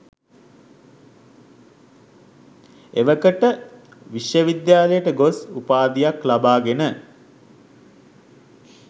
එවකට විශ්වවිද්‍යාලයට ගොස් උපාධියක් ලබාගෙන